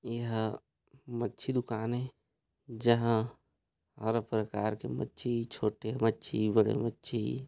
एहा मक्षी दुकान ए जहां हर प्रकार के मक्षी छोटे मक्षी बड़े मक्षी--